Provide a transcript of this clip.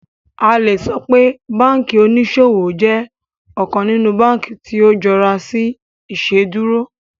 A le sọ pe banki oniṣowo jẹ ọkan ninu banki ti o jọra si Iṣeduro